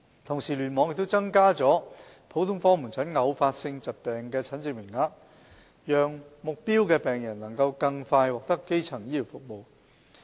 同時，聯網亦增加了普通科門診偶發性疾病的診症名額，讓目標病人能更快獲得基層醫療服務。